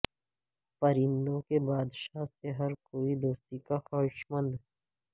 پرندوں کے بادشاہ سے ہر کوئی دوستی کا خواہشمند